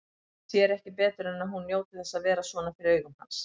Sér ekki betur en að hún njóti þess að vera svona fyrir augum hans.